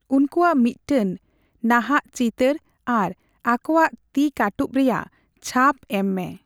ᱩᱱᱠᱩᱣᱟᱜ ᱢᱤᱫᱴᱟᱝ ᱱᱟᱦᱟᱜ ᱪᱤᱛᱟᱹᱨ ᱟᱨ ᱟᱠᱚᱣᱟᱜ ᱛᱤ ᱠᱟᱹᱴᱩᱵ ᱨᱮᱭᱟᱜ ᱪᱷᱟᱯ ᱮᱢᱢᱮ ᱾